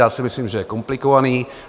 Já si myslím, že je komplikovaný.